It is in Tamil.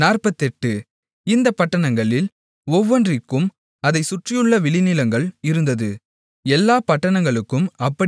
இந்தப் பட்டணங்களில் ஒவ்வொன்றிற்கும் அதைச் சுற்றியுள்ள வெளிநிலங்கள் இருந்தது எல்லாப் பட்டணங்களுக்கும் அப்படியே இருந்தது